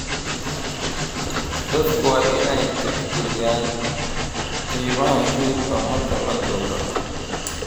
Dadku waa inay tixgeliyaan qiimaha hilibka marka la gowraco.